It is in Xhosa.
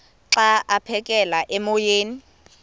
xa aphekela emoyeni